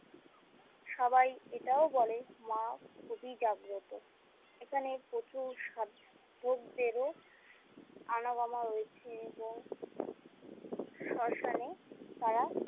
সবাই এটাও বলে মা খুবই জাগ্রত এখানে প্রচুর সাধকদেরও আনাগোনা রয়েছে এবং শ্মশানে তারা।